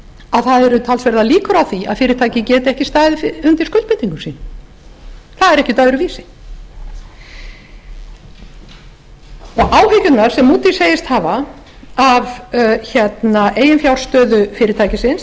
að það eru talsverðar líkur á því að fyrirtækið geti ekki staðið undir skuldbindingum sínum það er ekkert öðruvísi áhyggjurnar sem moodys segist hafa af eiginfjárstöðu fyrirtækisins